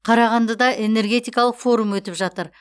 қарағандыда энергетикалық форум өтіп жатыр